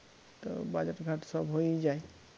তো বাজার ঘাট সব হয়েই যায়